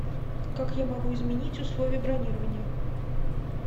как я могу изменить условия бронирования